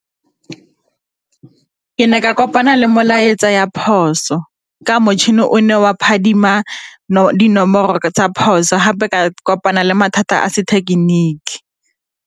Ke ne ka kopana le molaetsa ya phoso ka motšhini o ne wa phadima dinomoro tsa phoso gape ka kopana le mathata a sethekeniki.